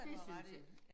Det synes jeg